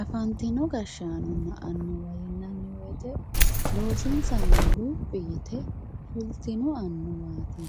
afantino gashshaanonna annuwa yineemmo woyiite loosinsanno luphi yite afantanno annuwaati